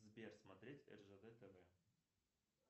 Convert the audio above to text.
сбер смотреть ржд тв